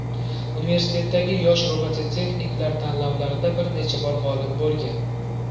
Universitetdagi yosh robototexniklar tanlovlarida bir necha bor g‘olib bo‘lgan.